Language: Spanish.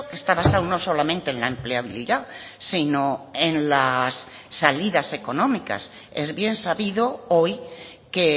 está basado no solamente en la empleabilidad sino en las salidas económicas es bien sabido hoy que